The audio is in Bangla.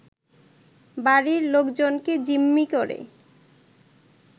বাড়ির লোকজনকে জিম্মি করে